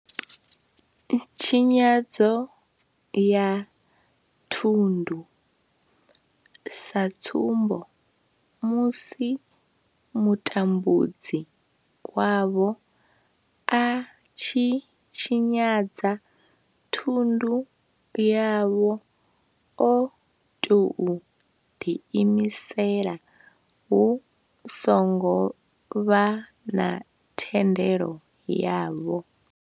Tshinyadzo ya thundu, sa tsumbo, musi mutambudzi wavho a tshi tshinyadza thundu yavho o tou ḓiimisela hu songo vha na thendelo yavho.